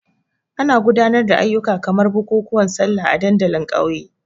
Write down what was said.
Ana gudanar da ayyuka kamar bukukuwan Sallah a dandalin ƙauye.